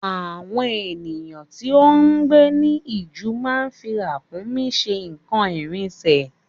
Àwọn èèyàn tí o ngbé ní ijù má ń fí Ràkúnmí ṣe n'kan ìrìnṣẹ̀